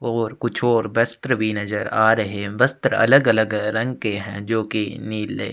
और कुछ और वस्त्र भी नजर आ रहै है वस्त्र अलग - अलग रंग के है जो की नीले --